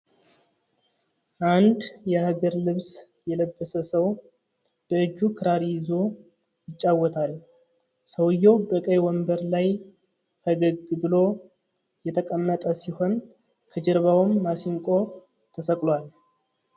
አንድ የሃገር ልብስ የለበሰ ሰው በእጁ ክራር ይዞ ይጫወታል። ሰውየው በቀይ ወንበር ላይ ፈገግ ብሎ የተቀመጠ ሲሆን ከጀርባውም ማሲንቆ ተሰቅሏል።